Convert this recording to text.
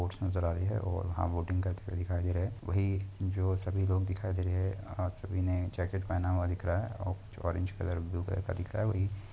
Boats नजर आ रहीं हैं और हम बोटिंग करते हुए दिखाई दे रहे हैं। वहीं जो सभी लोग दिखाई दे रहे हैं। अ सभी ने जैकेट पहना हुआ दिख रहा है औ कुछ ऑरेंज कलर ब्लू कलर का दिख रहा है वही --